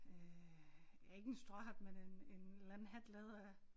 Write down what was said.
Øh ja ikke en stråhat men en en eller anden hat lavet af